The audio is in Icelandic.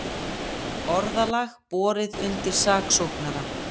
Orðalag borið undir saksóknara